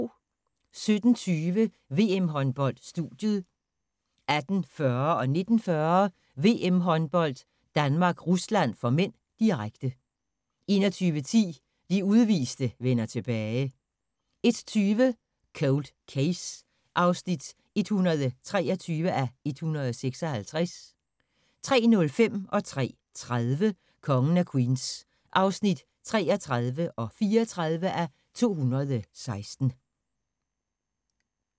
17:20: VM-håndbold: Studiet 18:40: VM-håndbold: Danmark-Rusland (m), direkte 19:40: VM-håndbold: Danmark-Rusland (m), direkte 21:10: De udviste vender tilbage 01:20: Cold Case (123:156) 03:05: Kongen af Queens (33:216) 03:30: Kongen af Queens (34:216)